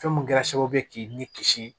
Fɛn min kɛra sababu ye k'i ni kisi